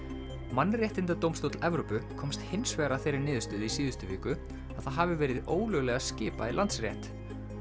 mannréttindadómstóll Evrópu komst hins vegar að þeirri niðurstöðu í síðustu viku að það hafi verið ólöglega skipað í Landsrétt